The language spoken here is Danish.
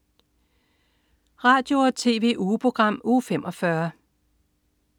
Radio- og TV-ugeprogram Uge 45